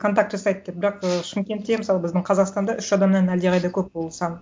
контакт жасайды деп бірақ ы шымкентте мысалы біздің қазақстанда үш адамнан әлдеқайда көп ол сан